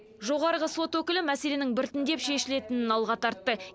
жоғарғы сот өкілі мәселенің біртіндеп шешілетінін алға тартты